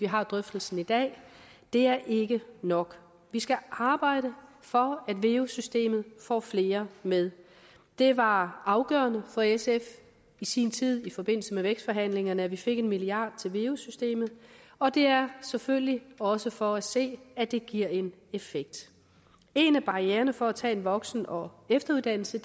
har drøftelsen i dag det er ikke nok vi skal arbejde for at veu systemet får flere med det var afgørende for sf i sin tid i forbindelse med vækstforhandlingerne at vi fik en milliard kroner til veu systemet og det er selvfølgelig også for at se at det giver en effekt en af barriererne for at tage en voksen og efteruddannelse